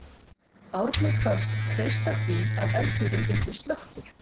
Árni kvaðst treysta því að eldurinn yrði slökktur.